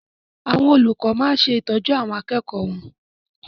Àwọn olùkọ máa ń ṣètọ́jú àwọn akẹ́kọ̀ọ́ wọn.